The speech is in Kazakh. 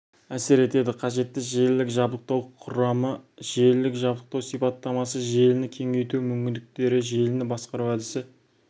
әсер етеді қажетті желілік жабдықтау құрамы желілік жабдықтау сипаттамасы желіні кеңейту мүмкіндіктері желіні басқару әдісі